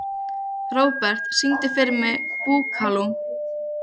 Robert, syngdu fyrir mig „Búkalú“.